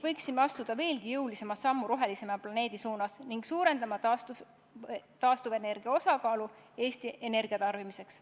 Võiksime astuda veelgi jõulisema sammu rohelisema planeedi suunas ja suurendada taastuvenergia osakaalu Eesti energiatarbimises.